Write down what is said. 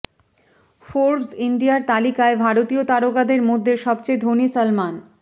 Forbes ইন্ডিয়ার তালিকায় ভারতীয় তারকাদের মধ্যে সবচেয়ে ধনী সলমন